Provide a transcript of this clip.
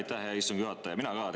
Aitäh, hea istungi juhataja!